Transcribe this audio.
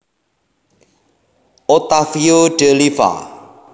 Ottavio De Liva